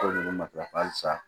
O de bɛ matarafa halisa